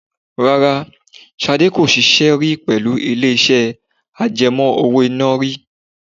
Rárá, Ṣadé kò ṣiṣẹ́ rí pẹ̀lú ilé iṣẹ́ àjẹmó owó iná rí.